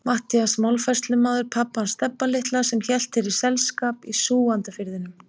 Matthías málafærslumaður, pabbi hans Stebba litla sem hélt þér selskap í Súgandafirðinum.